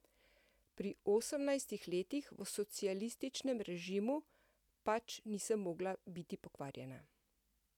Pri osemnajstih letih v socialističnem režimu pač nisem mogla biti pokvarjena.